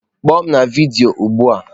Kpọọ m na vidiyo ugbu a!